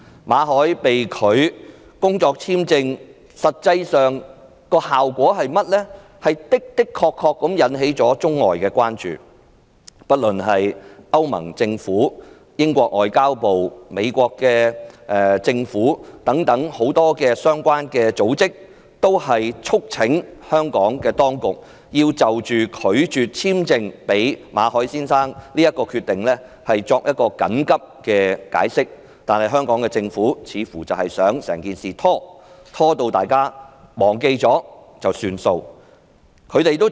馬凱工作簽證續期申請被拒，實際上的確引起了外國的關注，不論是歐盟政府、英國外交及聯邦事務部、美國政府等很多相關組織，均促請香港當局就拒絕簽證予馬凱先生的決定緊急作出解釋，但香港政府似乎想採取拖延政策，直至大家忘記整件事便由它不了了之。